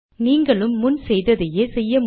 நீங்களும் முன் செய்தையே செய்ய முடியும்